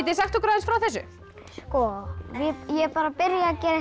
sagt okkur aðeins frá þessu ég bara byrja